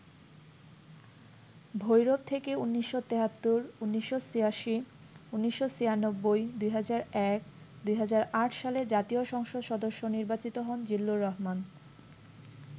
ভৈরব থেকে ১৯৭৩, ১৯৮৬, ১৯৯৬, ২০০১, ২০০৮ সালে জাতীয় সংসদ সদস্য নির্বাচিত হন জিল্লুর রহমান।